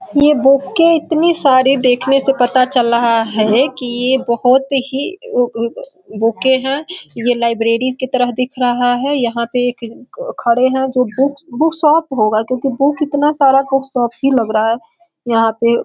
ये बुकें इतनी सारी देखने से पता चल रहा है कि यह बहुत ही उ-उ बुकें हैं यह लाइबरी की तरह दिख रहा है यहाँ पे एक ख-ख-खड़े हैं जो बुकस बुक शॉप होगा क्योंकी बुक इतना सारा बुक शॉप ही लग रहा है यहाँ पर।